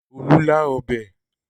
Olú lá ọbẹ̀?